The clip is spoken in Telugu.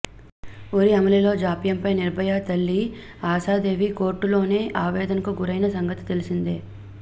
ఉరి అమలులో జాప్యంపై నిర్భయ తల్లి ఆశాదేవి కోర్టులోనే ఆవేదనకు గురయిన సంగతి తెలిసిందే